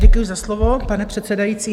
Děkuji za slovo, pane předsedající.